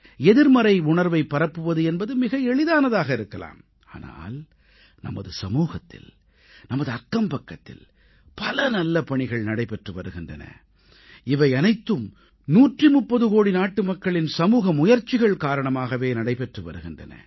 எதிர்மறை உணர்வைப் பரப்புவது என்பது மிக எளிதானதாக இருக்கலாம் ஆனால் நமது சமூகத்தில் நமது அக்கம்பக்கத்தில் பல நல்ல பணிகள் நடைபெற்று வருகின்றன இவையனைத்தும் 130 கோடி நாட்டுமக்களின் சமூக முயற்சிகள் காரணமாகவே நடைபெற்று வருகின்றன